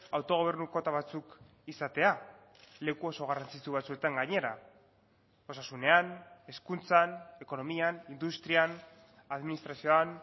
autogobernu kuota batzuk izatea leku oso garrantzitsu batzuetan gainera osasunean hezkuntzan ekonomian industrian administrazioan